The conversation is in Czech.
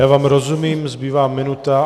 Já vám rozumím, zbývá minuta.